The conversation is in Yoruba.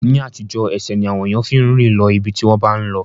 Ní àtijọ́, ẹsẹ̀ ni àwọn ènìyàn fi ń rìn lọ ibi tí wọ́n bá ń lọ